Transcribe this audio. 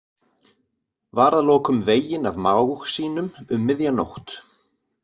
Var að lokum veginn af mág sínum um miðja nótt.